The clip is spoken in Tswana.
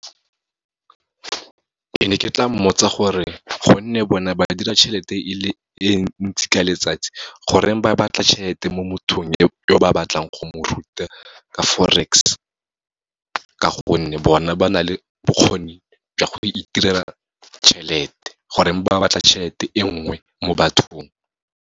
Ke ne ke tla mmotsa gore gonne bone ba dira tjhelete e ntsi ka letsatsi, goreng ba batla tjhelete mo mothong yo ba batlang go mo ruta ka Forex, ka gonne bona ba na le bokgoni jwa go itirela tjhelete, goreng ba batla tjhelete e nngwe mo bathong.